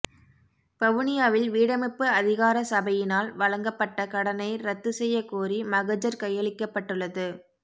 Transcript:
வவுனியாவில் வீடமைப்பு அதிகாரசபையினால் வழங்கப்பட்ட கடனை இரத்து செய்ய கோரி மகஜர் கையளிக்கப்பட்டுள்ளது